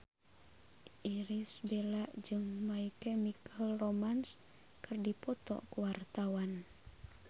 Irish Bella jeung My Chemical Romance keur dipoto ku wartawan